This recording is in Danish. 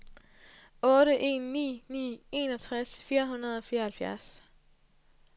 otte en ni ni enogtres fire hundrede og fireoghalvfjerds